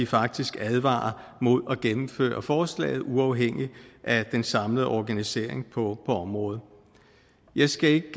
faktisk advarer mod at gennemføre forslaget uafhængigt af den samlede organisering på området jeg skal ikke